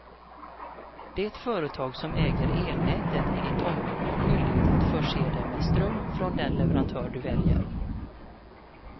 Det företag som äger elnätet i ditt område har skyldighet att förse dig med ström från den leverantör du väljer.